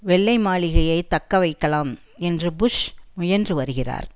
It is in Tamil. வெள்ளை மாளிகையை தக்கவைக்கலாம் என்று புஷ் முயன்று வருகிறார்